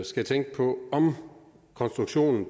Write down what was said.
skal tænke på om konstruktionen